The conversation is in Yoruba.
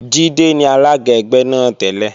Jídé ni alága ẹgbẹ́ náà tẹ́lẹ̀